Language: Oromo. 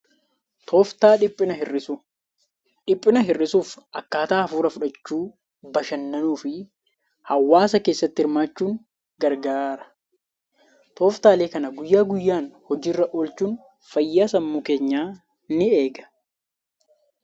Tooftaa dhiphina hir'isuu: Dhiphina hir'isuuf akkaataa hafuura fudhachuu bashannanuu fi hawaasa keessatti hirmaachuun gargaara. Tooftaalee kana guyyaa guyyaan hojiirra oolchuun fayyaa sammuu keenyaa ni eega.